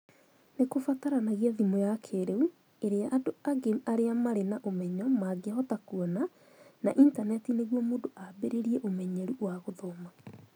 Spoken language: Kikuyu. Nĩ kũbataranagia thimũ ya kĩĩrĩu , ĩrĩa andũ aingĩ arĩa marĩ na ũmenyo mangĩhota kuona, na Intaneti nĩguo mũndũ ambĩrĩrie ũmenyeru wa gũthoma